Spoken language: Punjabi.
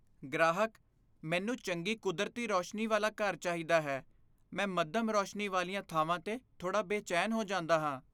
ਗ੍ਰਾਹਕ, "ਮੈਨੂੰ ਚੰਗੀ ਕੁਦਰਤੀ ਰੋਸ਼ਨੀ ਵਾਲਾ ਘਰ ਚਾਹੀਦਾ ਹੈ, ਮੈਂ ਮੱਧਮ ਰੌਸ਼ਨੀ ਵਾਲੀਆਂ ਥਾਵਾਂ 'ਤੇ ਥੋੜਾ ਬੇਚੈਨ ਹੋ ਜਾਂਦਾ ਹਾਂ"